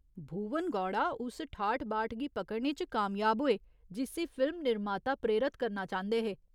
भुवन गौड़ा उस ठाठ बाठ गी पकड़ने च कामयाब होए, जिस्सी फिल्म निर्माता प्रेरत करना चांह्दे हे।